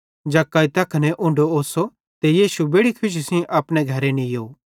जक्कई तैखने उन्ढो ओस्सो ते यीशु बेड़ि खुशी सेइं अपने घरे नीयो